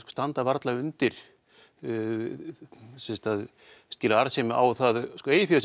standa varla undir að skila arðsemi á að eigið fé sem